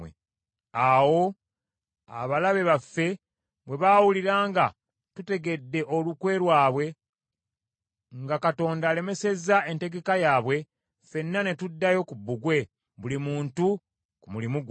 Awo abalabe baffe bwe baawulira nga tutegedde olukwe lwabwe, nga Katonda alemesezza enteekateeka yaabwe, ffenna ne tuddayo ku bbugwe, buli muntu ku mulimu gwe.